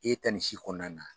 E ka ni si kɔnɔna na